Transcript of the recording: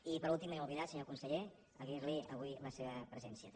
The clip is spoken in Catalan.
i per últim me n’he oblidat senyor conse·ller agrair·li avui la seva presència també